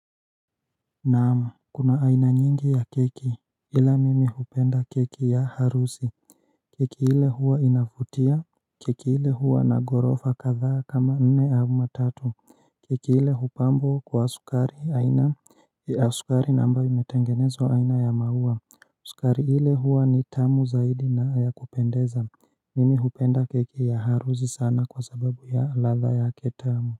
Naam kuna aina nyingi ya keki ila mimi hupenda keki ya harusi Keki ile huwa inavutia Keki ile huwa na ghorofa kadhaa kama nne ama tatu Keki ile hupambwa kwa sukari aina sukari na ambayo imetengenezwa aina ya maua sukari ile huwa ni tamu zaidi na ya kupendeza Mimi hupenda keki ya harusi sana kwasababu ya ladha yake tamu.